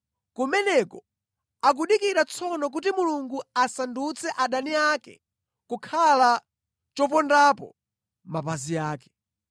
Kumeneko akudikira tsono kuti Mulungu asandutse adani ake kukhala chopondapo mapazi ake.